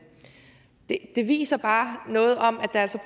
det viser bare noget om at der altså